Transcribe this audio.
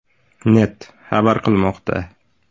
net” xabar qilmoqda .